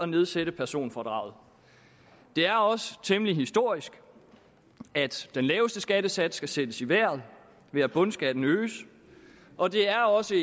nedsætter personfradraget det er også temmelig historisk at den laveste skattesats skal sættes i vejret ved at bundskatten øges og det er også